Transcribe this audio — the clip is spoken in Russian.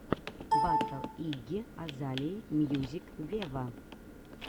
батл игги азалии мьюзик вево